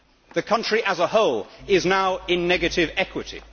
The country as a whole is now in negative equity.